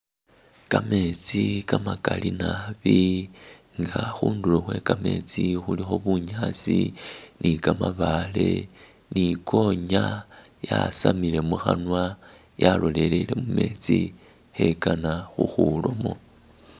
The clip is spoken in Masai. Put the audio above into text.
Gameetsi gamagaali naabi nga khundulo khwe gameetsi khulikho bunyaasi ni gamabaale ni gonya yasamile mukhanwa yalolelele mumetsi khegana khukwilamo.